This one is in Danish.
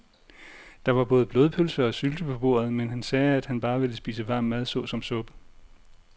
Der var både blodpølse og sylte på bordet, men han sagde, at han bare ville spise varm mad såsom suppe.